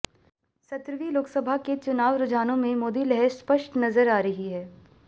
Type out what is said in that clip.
सत्रहवीं लोकसभा के चुनाव रुझानों में मोदी लहर स्पष्ट नजर आ रही है